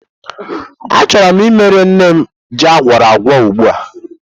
Achọrọ m imere nne m ji agwuoragwo ugbu a.